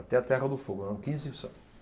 Até a Terra do Fogo, eram quinze